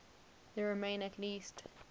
there remain at least